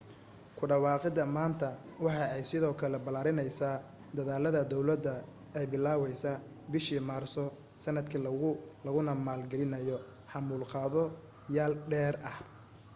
ku dhawaaqida maanta waxa ay sidoo kale balaarineysa dadaalada dowlada ay bilaawday bishii maarso sanadkan laguna maal gelinayo xamuul qaado yaal dheeri ah